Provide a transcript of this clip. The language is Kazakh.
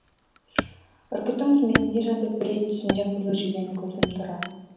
үркіттің түрмесінде жатып бір рет түсімде қызыл жебені көрдім тұрар